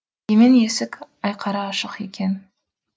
емен есік айқара ашық екен